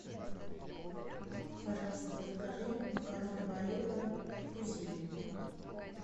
пожалуйста закажи макароны барилла фузилли